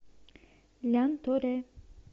лянторе